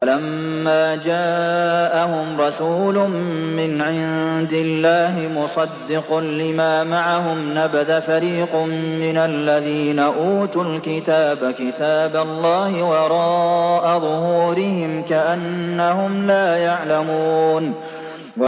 وَلَمَّا جَاءَهُمْ رَسُولٌ مِّنْ عِندِ اللَّهِ مُصَدِّقٌ لِّمَا مَعَهُمْ نَبَذَ فَرِيقٌ مِّنَ الَّذِينَ أُوتُوا الْكِتَابَ كِتَابَ اللَّهِ وَرَاءَ ظُهُورِهِمْ كَأَنَّهُمْ لَا يَعْلَمُونَ